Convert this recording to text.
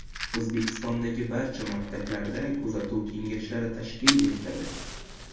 O‘zbekistondagi barcha maktablarda kuzatuv kengashlari tashkil etiladi.